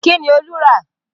Kí ni Olú lọ rà?